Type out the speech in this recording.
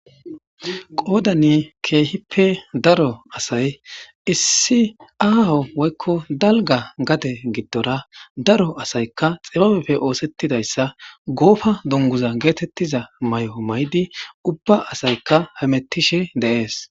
Qodan keehippe aho assay issi aaho woy dalga gade gidora daro asay xibabeppe osetidaysa Gofa dunguza getetiza mayo mayid ubba asayaka hemetishe de'es.